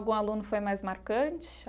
Algum aluno foi mais marcante?